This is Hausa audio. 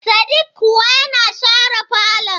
Sadik kuwa yana share falon.